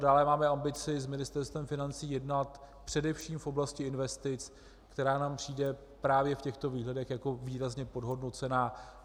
Dále máme ambici s Ministerstvem financí jednat především v oblasti investic, která nám přijde právě v těchto výhledech jako výrazně podhodnocená.